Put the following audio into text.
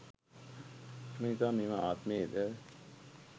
එම නිසා මෙම ආත්මයේද